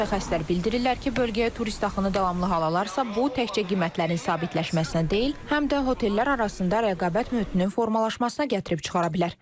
Mütəxəssislər bildirirlər ki, bölgəyə turist axını davamlı hal alarsa, bu təkcə qiymətlərin sabitləşməsinə deyil, həm də otellər arasında rəqabət mühitinin formalaşmasına gətirib çıxara bilər.